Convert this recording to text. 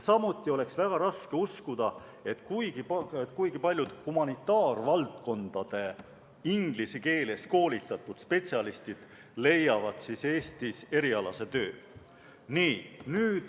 Samuti oleks väga raske uskuda, et kuigi paljud humanitaarvaldkondade inglise keeles koolitatud spetsialistid leiavad Eestis erialase töö.